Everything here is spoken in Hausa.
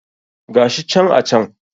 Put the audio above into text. Gashi can a can